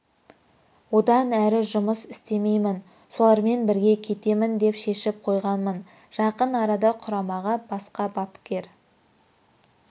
одан әрі жұмыс істемеймін солармен бірге кетемін деп шешіп қойғанмын жақын арада құрамаға басқа бапкер